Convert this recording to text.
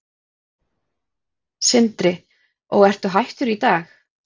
Sindri: Og ertu hættur í dag?